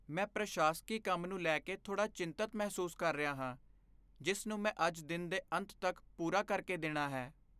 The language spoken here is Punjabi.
ਮੈਂ ਪ੍ਰਸ਼ਾਸਕੀ ਕੰਮ ਨੂੰ ਲੈ ਕੇ ਥੋੜ੍ਹਾ ਚਿੰਤਿਤ ਮਹਿਸੂਸ ਕਰ ਰਿਹਾ ਹਾਂ ਜਿਸ ਨੂੰ ਮੈਂ ਅੱਜ ਦਿਨ ਦੇ ਅੰਤ ਤੱਕ ਪੂਰਾ ਕਰ ਕੇ ਦੇਣਾ ਹੈ।